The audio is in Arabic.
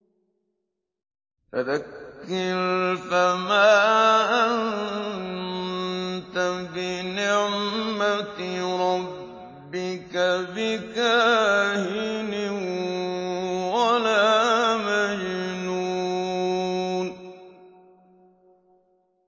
فَذَكِّرْ فَمَا أَنتَ بِنِعْمَتِ رَبِّكَ بِكَاهِنٍ وَلَا مَجْنُونٍ